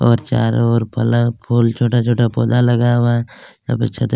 और चारो ओर बल्ब और छोटा-छोटा पोधा लगाया हुआ है यहाँ पे छत--